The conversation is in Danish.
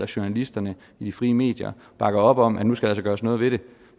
journalisterne i de frie medier bakker op om at nu skal der altså gøres noget ved det